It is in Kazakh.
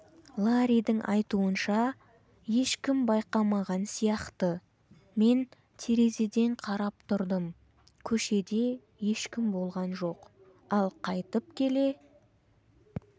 ларридің айтуынша ешкім байқамаған сияқты мен терезеден қарап тұрдым көшеде ешкім болған жоқ ал қайтып келе